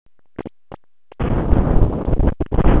Ég bað líka Sólrúnu fangavörð um að láta mig fá